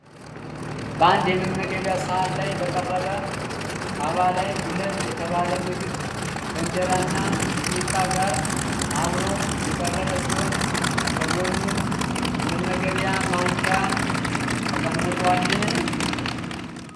በአንድ የመመገቢያ ሳህን ላይ በቀረበ ጣባ ላይ ዱለት የተባለ ምግብ ከእንጀራ እና ሚጥሚጣ ጋር አብሮ የቀረበ ሲሆን ከጎኑም የመመገቢያ ማንኪያ ተቀምጧል።